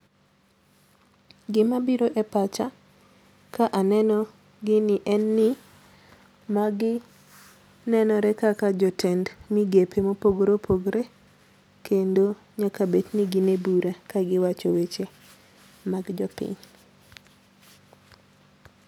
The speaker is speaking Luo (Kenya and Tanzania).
Gima biro e pacha ka aneno gini en ni, magi nenore kaka jotend migepe mopogere opogore, kendo nyaka bedni ginie e bura ka giwacho weche mag jo piny.